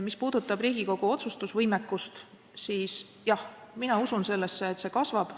Mis puudutab Riigikogu otsustusvõimekust, siis jah, mina usun sellesse, et see kasvab.